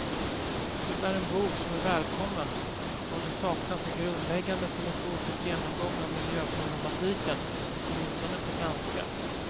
Det är en bok som är välkommen då det saknats en grundläggande filosofisk genomgång av miljöproblematiken, åtminstone på svenska.